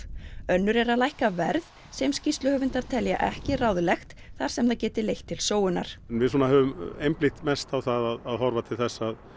önnur er að lækka verð sem skýrsluhöfundar telja ekki ráðlegt þar sem það geti leitt til sóunar en við svona höfum einblínt mest á það að horfa til þess að